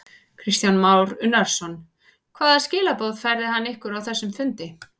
Kristján Már Unnarsson: Hvaða skilaboð færði hann ykkur á þessum fundi?